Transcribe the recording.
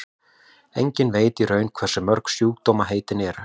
enginn veit í raun hversu mörg sjúkdómaheitin eru